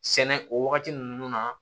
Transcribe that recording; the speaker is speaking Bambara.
Sɛnɛ o wagati ninnu na